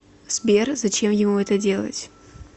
сбер зачем ему это делать